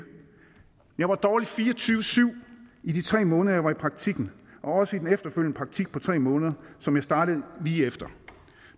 jeg var dårlig fire og tyve syv i de tre måneder jeg var i praktikken og også i den efterfølgende praktik på tre måneder som jeg startede lige efter